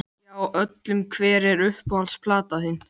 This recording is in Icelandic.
Og hún kallaði aftur: Ég bið líka að heilsa tvíburunum!